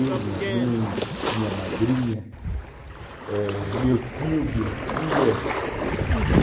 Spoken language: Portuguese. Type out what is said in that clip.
Eu, minha mãe, minha madrinha, meu tio, minha tia, a família.